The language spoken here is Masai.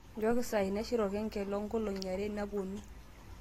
nchooki saai naishir olkengele oo nkolong'I are napuonu